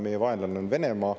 Meie vaenlane on Venemaa.